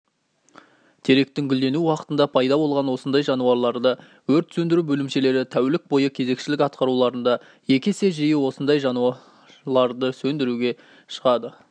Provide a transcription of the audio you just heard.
теректің гүлдену уақытында пайда болған осындай жануларды өрт сөндіру бөлімшелері тәулік бойы кезекшілік атқаруларында екі есе жиі осындай жануларды сөндіруге шығады